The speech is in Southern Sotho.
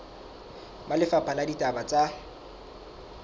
ba lefapha la ditaba tsa